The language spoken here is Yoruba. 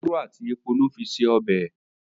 òróró àti èpo ló fí se ọbẹ